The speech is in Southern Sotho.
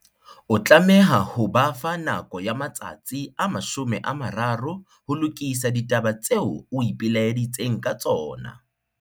O tlameha ho ba fa nako ya matsatsi a 30 ho lokisa ditaba tseo o ipelaeditseng ka tsona.